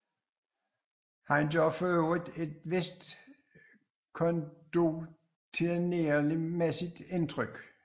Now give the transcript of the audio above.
Han gør for øvrigt et vist condottieremæssigt indtryk